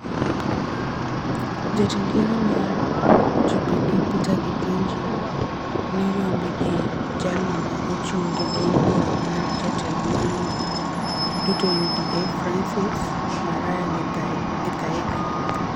Jatend yiero mar Jubili Peter Thinji noyombi gi jalno ma ochung' gi duond bura mar jotelo duto (UDA) Francis Muraya Githaiga,